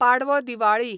Padwa Diwali